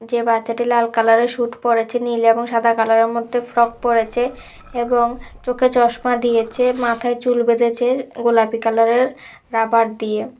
যে বাচ্চাটি লাল কালারের স্যুট পড়েছে নীল এবং সাদা কালারের মধ্যে ফ্রক পড়েছে এবং চোখে চশমা দিয়েছে মাথায় চুল বেঁধেছে গোলাপি কালারের রাবার দিয়ে।